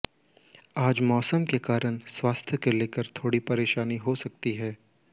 आज मौसम के कारण स्वास्थ्य को लेकर थोड़ी परेशानी हो सकती है